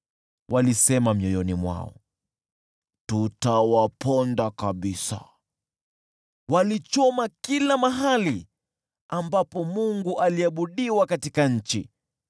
Walisema mioyoni mwao, “Tutawaponda kabisa!” Walichoma kila mahali ambapo Mungu aliabudiwa katika nchi.